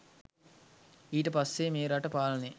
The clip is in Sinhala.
ඊට පස්සේ මේ රට පාලනය